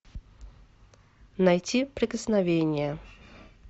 найти прикосновение